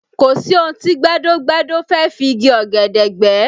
Kò sí ohun tí gbẹ́dọ́-gbẹ́dọ́ fẹ́ fi igi ọ̀gẹ̀dẹ̀ gbẹ́